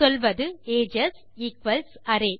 சொல்வது ages equals array